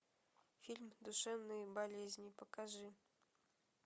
фильм душевные болезни покажи